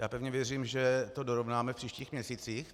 Já pevně věřím, že to dorovnáme v příštích měsících.